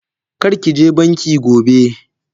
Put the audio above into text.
Karkije banki gobe!